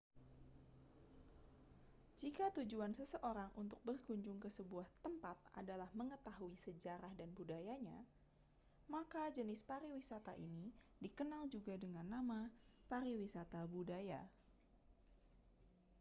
jika tujuan seseorang untuk berkunjung ke sebuah tempat adalah mengetahui sejarah dan budayanya maka jenis pariwisata ini dikenal juga dengan nama pariwisata budaya